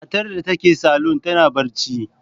Matar da take salon tana bacci.